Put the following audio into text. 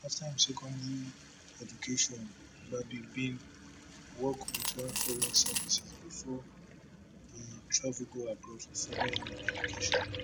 after im secondary education gbagi bin work wit one foreign service bifor e travel go abroad to further im education